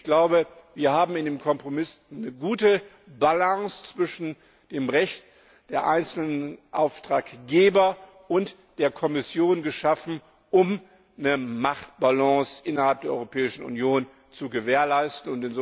Ich glaube, wir haben in dem Kompromiss eine gute Balance zwischen dem Recht der einzelnen Auftraggeber und der Kommission geschaffen, um eine Machtbalance innerhalb der Europäischen Union zu gewährleisten.